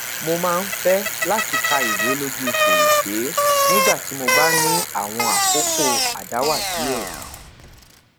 mo maa n fẹ lati ka iwe loju ferese nigba ti mo ba ni awọn akoko adawa diẹ